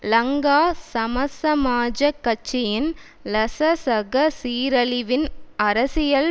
லங்கா சமசமாஜக் கட்சியின் லசசக சீரழிவின் அரசியல்